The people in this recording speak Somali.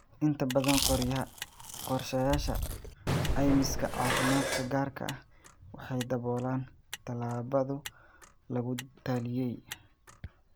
Inta badan qorshayaasha caymiska caafimaadka gaarka ah waxay daboolaan tallaallada lagu taliyey.